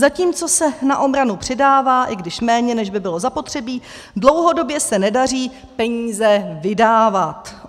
Zatímco se na obranu přidává, i když méně, než by bylo zapotřebí, dlouhodobě se nedaří peníze vydávat.